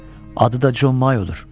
Hə, adı da Jon Mayodur.